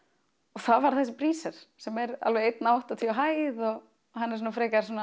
og það varð þessi sem er alveg eins áttatíu á hæð og hann er svona frekar